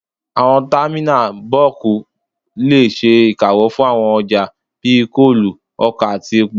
Àwọn támínà bọ́ọ̀kù lè ṣe ìkáwọ́ fún àwọn ọjà bíi kóòlù, ọkà àti epo